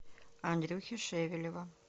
андрюхи шевелева